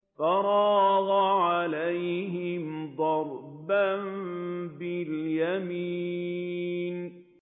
فَرَاغَ عَلَيْهِمْ ضَرْبًا بِالْيَمِينِ